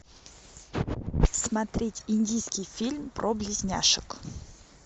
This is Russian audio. смотреть индийский фильм про близняшек